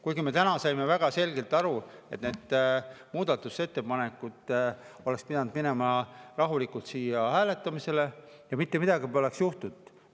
Kuigi me täna saime väga selgelt aru, et need muudatusettepanekud oleksid pidanud minema rahulikult siin hääletamisele ja mitte midagi poleks juhtunud.